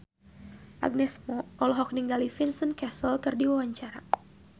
Agnes Mo olohok ningali Vincent Cassel keur diwawancara